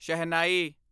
ਸ਼ਹਿਨਾਈ